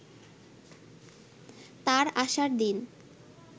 তার আসার দিন